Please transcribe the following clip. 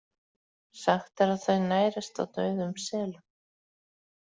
Sagt er að þau nærist á dauðum selum.